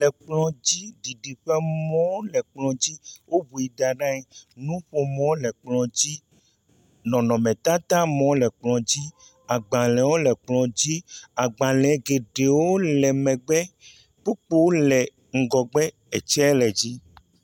xɔ mee nye ya mɔɖaŋu le kplɔ dzi fotoɖemɔ ha le kplɔ dzi, kaƒomɔ le kplɔ dzi agbalẽ hã li, zikpui aɖe le afi ma hele ʋie.\ Le kplɔa ƒe axa dzi la nɔnɔmetata aɖe le ke agbalẽ le eme.